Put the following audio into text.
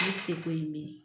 Ne se ko ye min ye